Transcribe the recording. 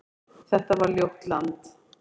Þetta var ljótt land.